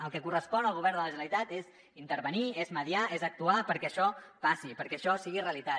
el que correspon al govern de la generalitat és intervenir és mediar és actuar perquè això passi perquè això sigui realitat